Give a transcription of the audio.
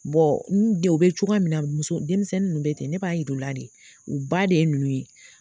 u be cogoya min na muso denmisɛnnin ninnu bɛ ten ne b'a yir'u la de u ba de ye ninnu ye.